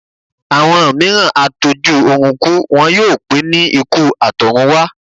Àwọn mìíràn á tó jú ọrùn kú, wọn yóò pé ní ikú àtọ̀run wá